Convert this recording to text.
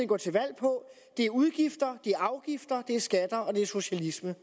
går til valg på er udgifter det er afgifter det er skatter og det er socialisme